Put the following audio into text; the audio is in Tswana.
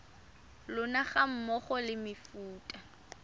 lona ga mmogo le mefuta